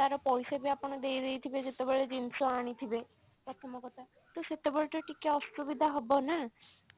ତାର ପଇସା ବି ଆପଣ ଦେଇଦେଇଥିବେ ଯେତେବେଳେ ଜିନିଷ ଆଣିଥିବେ ପ୍ରଥମ କଥା ତ ସେତେବେଳେ ତ ଟିକେ ଅସୁବିଧା ହବ ନା